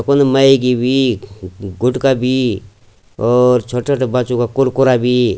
यफुण मैगी भी गुटका भी और छुट्टा छुट्टा बच्चों का कुरकुरा भी।